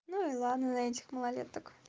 ну и ладно на этих малолеток